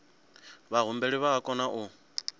vhahumbeli vha o kona u